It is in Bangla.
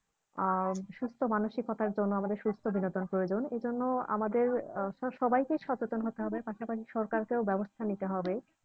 আহ সুস্থ মানসিকতার জন্য আমাদের সুস্থ বিনোদন প্রয়োজন এজন্য আমাদের আহ আমাদের সবাইকে সচেতন হতে হবে পাশাপাশি সরকারকেও ব্যবস্থা নিতে হবে